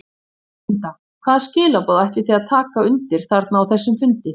Linda: Hvaða skilaboð ætlið þið að taka undir þarna á þessum fundi?